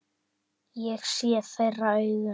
Ég sé þeirra augum.